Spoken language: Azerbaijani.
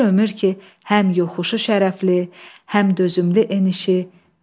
Bir ömür ki həm yoxuşu şərafətli, həm dözümlü enişi.